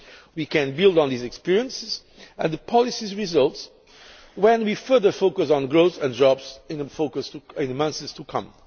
We can build on these experiences and the policy results when we further focus on growth and jobs in the months to come.